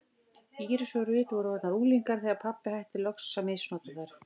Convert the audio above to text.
Íris og Ruth voru orðnar unglingar þegar pabbi hætti loks að misnota þær.